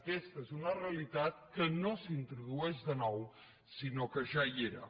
aquesta és una realitat que no s’introdueix de nou sinó que ja hi era